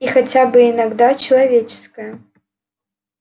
и хотя бы иногда человеческая